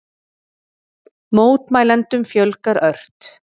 Mótmælendum fjölgar ört